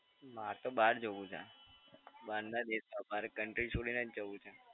મારે તો બહાર જવું છે. બહાર ના દેશ માં મારે country છોડીને જ જવું છે.